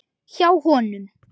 Hjá honum.